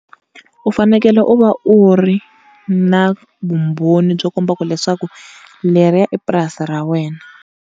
U fanekele u va u ri na vumbhoni byo komba ku leswaku leriya i purasini ra wena.